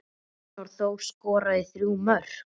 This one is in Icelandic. Arnór Þór skoraði þrjú mörk.